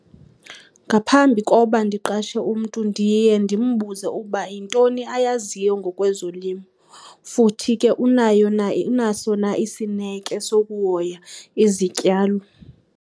Ngaphambi koba ndiqashe umntu ndiye ndimbuze uba yintoni ayaziyo ngokwezolimo futhi ke unayo na , unaso na isineke sokuhoya izityalo.